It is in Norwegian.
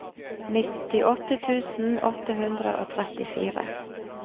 nittiåtte tusen åtte hundre og trettifire